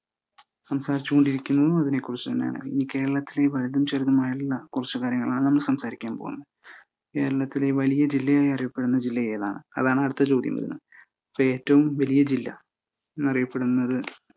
സംസാരിച്ചുകൊണ്ടിരിക്കുന്നതും അതിനെക്കുറിച്ചുതന്നെയാണ്. ഇനി കേരളത്തിലെ വലുതും ചെറുതുമായിട്ടുള്ള കൊറച്ച് കാര്യങ്ങളാണ് നമ്മൾ സംസാരിക്കാൻ പോകുന്നത്. കേരളത്തിലെ വലിയ ജില്ലയായി അറിയപ്പെടുന്ന ജില്ലാ ഏതാണ്? അടുത്ത ചോദ്യം വരുന്നേ ഏറ്റവും വലിയ ജില്ലാ എന്നറിയപ്പെടുന്നത്